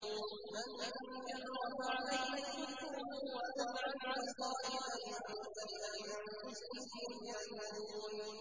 مَن كَفَرَ فَعَلَيْهِ كُفْرُهُ ۖ وَمَنْ عَمِلَ صَالِحًا فَلِأَنفُسِهِمْ يَمْهَدُونَ